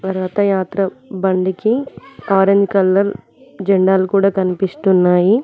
రథయాత్ర బండికి orange colour జెండాలు కూడా కనిపిస్తున్నాయి.